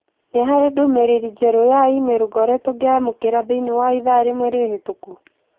Nĩ harĩ ndũmĩrĩri njerũ ya i-mīrū ngoretwo ngĩamũkĩra thĩinĩ wa ithaa rĩmwe rĩhĩtũku?